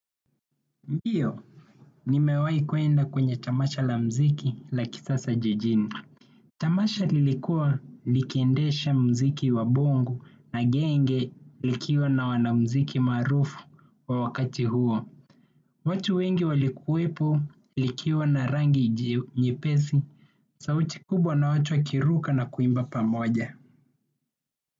Ndiyo, nimewai kuenda kwenye tamasha la mziki la kisasa jijini. Tamasha lilikua likiendesha muziki wa bongo na genge likiwa na wanamuziki maarufu wa wakati huo. Watu wengi walikuwepo likiwa na rangi nyepesi, sauti kubwa na watu wakiruka na kuimba pamoja.